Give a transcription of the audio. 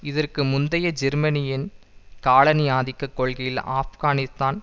இதற்கு முந்தைய ஜெர்மனியின் காலனி ஆதிக்க கொள்கையில் ஆப்கானிஸ்தான்